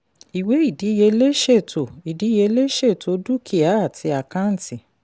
ìwé ìdíyelé ṣètò ìdíyelé ṣètò dúkìá àti àkàǹtì.